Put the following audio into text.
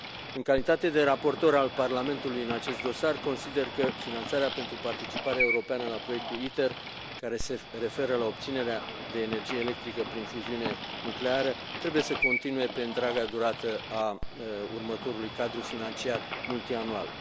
În calitate de raportor al Parlamentului în acest dosar, consider că finanțarea pentru participarea europeană la proiectul ITER, care se referă la obținerea de energie electrică prin fuziune nucleară, trebuie să continue pe întreaga durată a următorului cadru financiar multianual.